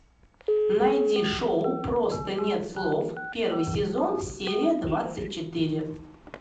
найди шоу просто нет слов первый сезон серия двадцать четыре